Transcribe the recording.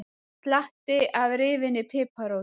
Slatti af rifinni piparrót